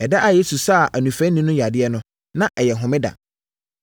Ɛda a Yesu saa onifirani no yadeɛ no, na ɛyɛ homeda.